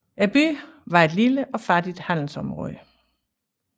Byen var et lille og fattigt handelsområde